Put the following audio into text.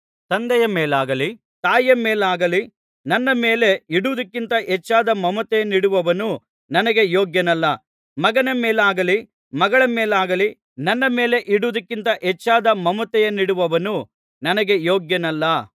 ತಂದೆಯ ಮೇಲಾಗಲಿ ತಾಯಿಯ ಮೇಲಾಗಲಿ ನನ್ನ ಮೇಲೆ ಇಡುವುದಕ್ಕಿಂತ ಹೆಚ್ಚಾದ ಮಮತೆಯನ್ನಿಡುವವನು ನನಗೆ ಯೋಗ್ಯನಲ್ಲ ಮಗನ ಮೇಲಾಗಲಿ ಮಗಳ ಮೇಲಾಗಲಿ ನನ್ನ ಮೇಲೆ ಇಡುವುದಕ್ಕಿಂತ ಹೆಚ್ಚಾದ ಮಮತೆಯನ್ನಿಡುವವನು ನನಗೆ ಯೋಗ್ಯನಲ್ಲ